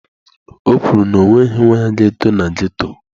O kwuru na ọ nweghị nwa ya ga-eto na ghetto.